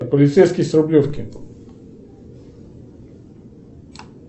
полицейский с рублевки